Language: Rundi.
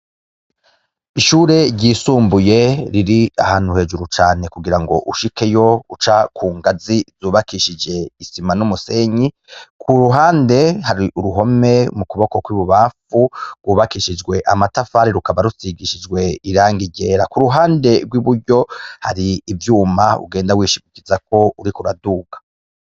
Ishure ryisumbuye riri ahantu hejuru cane kugirango ushikeyo uca kungazi zubakishije isima numusenyi kuruhande hari uruhome mu kuboko kwibubamfu rwubakishijwe amatafari rukaba rusigishijwe irangi ryera, kuruhande rwiburyo hari ivyuma ugenda wishimikizako uriko uraduga.